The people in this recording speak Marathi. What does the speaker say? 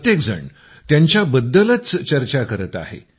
प्रत्येक जण त्यांच्याबद्दलच चर्चा करत आहे